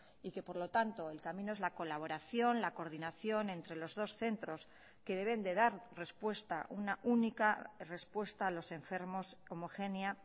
y que por lo tanto el camino es la colaboración la coordinación entre los dos centros que deben de dar respuesta una única respuesta a los enfermos homogénea